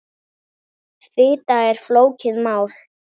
Fita er flókið mál.